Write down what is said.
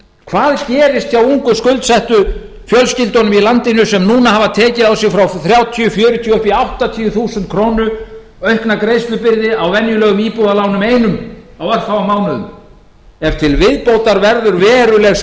hvað gerist hjá ungu skuldsettu fjölskyldunum í landinu sem núna hafa tekið á sig frá þrjátíu fjörutíu og upp í áttatíu þúsund krónur aukna greiðslubyrði á venjulegum íbúðalánum einum á örfáum mánuðum ef til viðbótar verður verulega